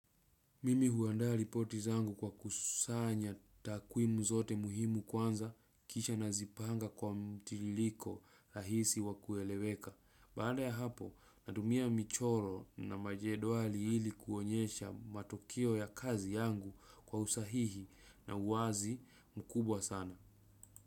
Mimi huandaa ripoti zangu kwa kusanya takwimu zote muhimu kwanza kisha nazipanga kwa mtiririko rahisi wakueleweka. Baada ya hapo natumia michoro na majedwali ili kuonyesha matokeo ya kazi yangu kwa usahihi na uwazi mkubwa sana.